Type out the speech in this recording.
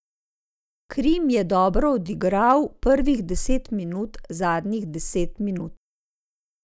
Krim je dobro odigral prvih deset minut zadnjih deset minut.